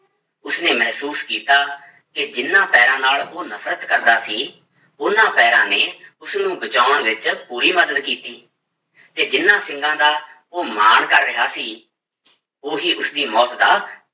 ਉਸਨੇ ਮਹਿਸੂਸ ਕੀਤਾ ਕਿ ਜਿੰਨਾਂ ਪੈਰਾਂ ਨਾਲ ਉਹ ਨਫ਼ਰਤ ਕਰਦਾ ਸੀ, ਉਹਨਾਂ ਪੈਰਾਂ ਨੇ ਉਸਨੂੰ ਬਚਾਉਣ ਵਿੱਚ ਪੂਰੀ ਮਦਦ ਕੀਤੀ ਤੇ ਜਿਹਨਾਂ ਸਿੰਗਾਂ ਦਾ ਉਹ ਮਾਣ ਕਰ ਰਿਹਾ ਸੀ ਉਹੀ ਉਸਦੀ ਮੌਤ ਦਾ